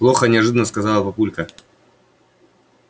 плохо неожиданно сказал папулька